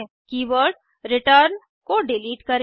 keyword return को delete करें